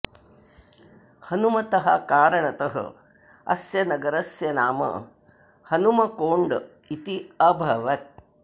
हनुमतः कारणतः अस्य नगरस्य नाम हनुमकोण्ड इति अभवत्